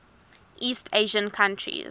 east asian countries